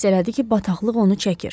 Hiss elədi ki, bataqlıq onu çəkir.